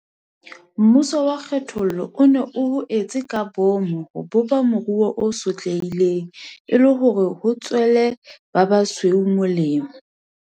Mmuso wa kgethollo o ne o ho etse ka boomo ho bopa moruo o sothehileng, e le hore o tswele ba basweu molemo.